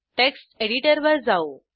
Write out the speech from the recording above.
text एडिटरवर जाऊ